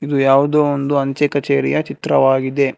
ಇದು ಯಾವುದೋ ಒಂದು ಅಂಚೆ ಕಚೇರಿಯ ಚಿತ್ರವಾಗಿದೆ.